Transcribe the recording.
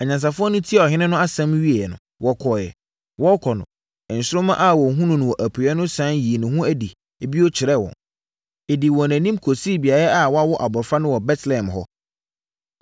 Anyansafoɔ no tiee ɔhene no asɛm no wieeɛ no, wɔkɔeɛ. Wɔrekɔ no, nsoromma a wɔhunuu wɔ apueeɛ no sane yii ne ho adi bio kyerɛɛ wɔn. Ɛdii wɔn anim kɔsii beaeɛ a wɔawo abɔfra no wɔ Betlehem hɔ.